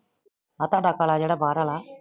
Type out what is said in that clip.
ਆ ਥਾਡਾ ਕਾਲਾ ਜਿਹੜਾ ਬਾਹਰ ਵਾਲਾ